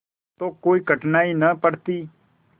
तो कोई कठिनाई न पड़ती